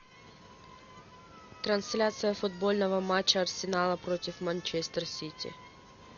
трансляция футбольного матча арсенала против манчестер сити